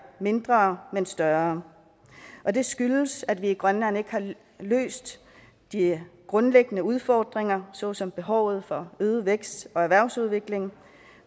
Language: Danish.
mindre men større og det skyldes at vi i grønland ikke har løst de grundlæggende udfordringer såsom behovet for øget vækst og erhvervsudvikling at